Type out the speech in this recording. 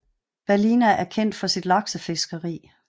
Ballina er kendt kendt for sit laksefiskeri